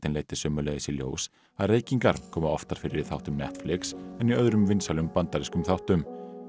leiddi sömuleiðis í ljós að reykingar koma oftar fyrir í þáttum Netflix en í öðrum vinsælum bandarískum þáttum